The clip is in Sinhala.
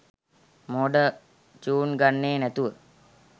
මෝඩ චුන් ගන්නේ නැතුව.